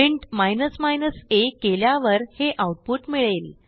print a केल्यावर हे output मिळेल